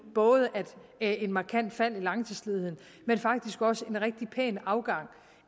både et markant fald i langtidsledigheden og faktisk også en rigtig pæn afgang